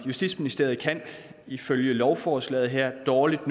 justitsministeriet kan ifølge lovforslaget her dårligt